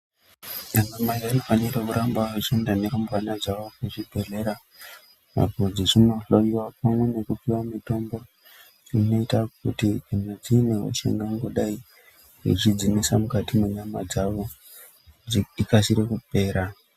Ana mai vanofanira kuramba vechienda nerumbwana dzavo kuchibhedhlera apo dzechindohloyiwa pamwe nekupiwa mitombo inoita kuti kana dziine hosha ingangodai yechidzinesa mukati menyama dzavo ikasire kupera.